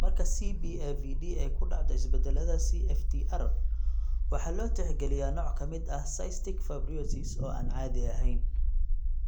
Marka CBAVD ay ku dhacdo isbeddellada CFTR, waxaa loo tixgeliyaa nooc ka mid ah cystic fibrosis oo aan caadi ahayn.